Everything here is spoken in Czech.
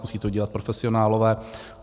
Musejí to dělat profesionálové.